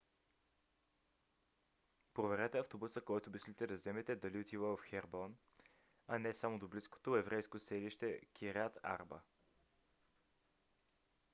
проверете автобуса който мислите да вземете дали отива в хеброн а не само до близкото еврейско селище кирят арба